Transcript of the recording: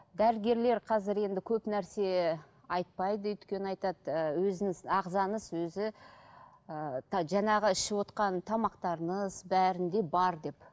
дәрігерлер қазір енді көп нәрсе айтпайды өйткені айтады ы өзіңіз ағзаңыз өзі ыыы жаңағы ішівотқан тамақтарыңыз бәрінде бар деп